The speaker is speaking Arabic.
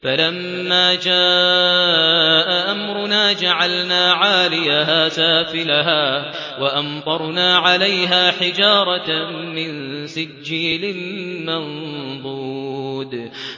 فَلَمَّا جَاءَ أَمْرُنَا جَعَلْنَا عَالِيَهَا سَافِلَهَا وَأَمْطَرْنَا عَلَيْهَا حِجَارَةً مِّن سِجِّيلٍ مَّنضُودٍ